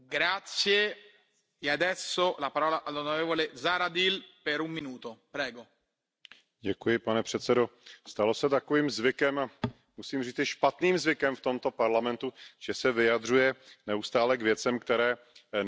Pane předsedající, stalo se takovým zvykem, musím říci špatným zvykem v tomto Parlamentu, že se vyjadřuje neustále k věcem, které nejsou v jeho kompetenci nebo vůbec v kompetenci EU, a to je přesně případ této zprávy o modernizaci